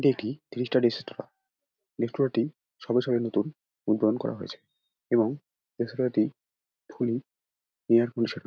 এটি রেস্তরাঁটি সবে সবে নতুন উদ্বোধন করা হয়েছে এবং রেস্তরাঁটি ফুললি এয়ার কন্ডিশনার ।